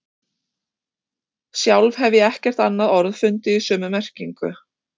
Sjálf hef ég ekkert annað orð fundið í sömu merkingu.